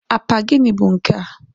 apa gịnị bụ nkea?